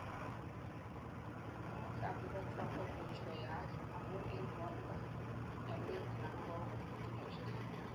koimutik ab urethra koimuch koyaak amun en ngwonindo, mionwek anan kakotunosiek